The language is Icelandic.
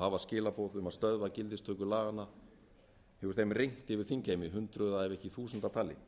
hafa skilaboð um að stöðva gildistöku laganna hefur þeim rignt yfir þingheim í hundruða ef ekki þúsunda tali